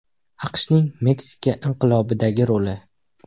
AQShning Meksika inqilobidagi roli.